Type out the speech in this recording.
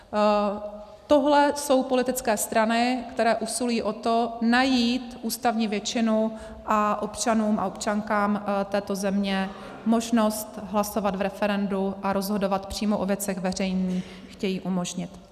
Tohle jsou politické strany, které usilují o to najít ústavní většinu a občanům a občankám této země možnost hlasovat v referendu a rozhodovat přímo o věcech veřejných chtějí umožnit.